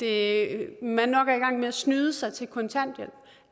er i gang med at snyde sig til kontanthjælp